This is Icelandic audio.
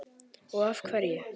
Og af hverju.